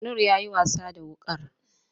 Noor ya yi wasa da wuƙar.